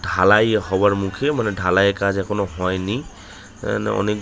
ঢালাই হওয়ার মুখে মানে ঢালাই এর কাজ এখনো হয়নি এ না অনেক --